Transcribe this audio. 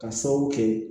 Ka sababu kɛ